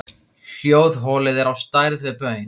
Hljóðholið er á stærð við baun.